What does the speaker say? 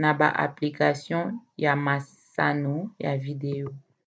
na ba application ya masano ya video